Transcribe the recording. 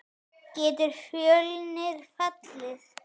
Getur Fjölnir fallið?